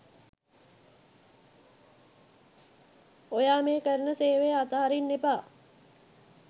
ඔයා මේ කරන සේවය අතහරින්න එපා.